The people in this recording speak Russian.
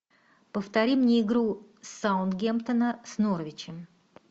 повтори мне игру саутгемптона с норвичем